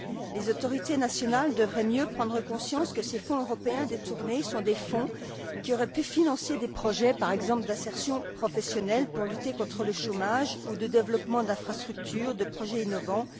Les autorités nationales devraient mieux prendre conscience que ces fonds européens détournés sont des fonds qui auraient pu financer des projets, par exemple, d'insertion professionnelle, pour lutter contre le chômage, ou de développement d'infrastructures, de projets innovants.